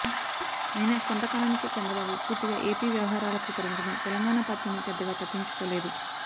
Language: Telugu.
అయినా కొంతకాలానికే చంద్రబాబు పూర్తిగా ఏపీ వ్యవహారాలకు పరిమితమై తెలంగాణ పార్టీని పెద్దగా పట్టించుకోలేదు